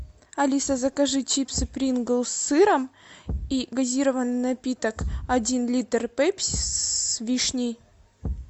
алиса закажи чипсы принглс с сыром и газированный напиток один литр пепси с вишней